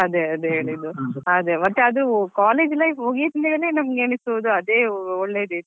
ಹೌದು ಅಲ್ವಾ ಅದೇ ಅದೇ ಹೇಳಿದ್ದು ಮತ್ತೆ ಅದು college life ಮುಗಿತ್ತಿದ್ದಾಗನೇ ನಮ್ಗೆ ಎನಿಸಬಹುದು ಅದೇ ಒಳ್ಳೆದಿತ್ತು.